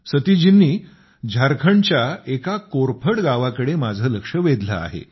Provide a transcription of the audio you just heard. सतीशजींनी झारखंडच्या एका कोरफड गावाकडे माझं लक्ष वेधलं आहे